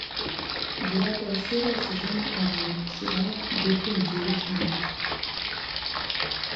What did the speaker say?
девятая серия сезона один сериала бруклин девять девять